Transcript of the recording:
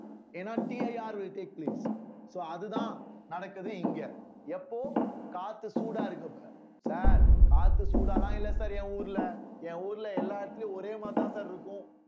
ஏன்னா TIRwill take place so அதுதான் நடக்குது இங்க எப்போ காத்து சூடா இருக்க இப்ப sir காத்து சூடாலாம் இல்ல sir என் ஊர்ல என் ஊர்ல எல்லா இடத்துலயும் ஒரே மாதிரிதான் sir இருக்கும்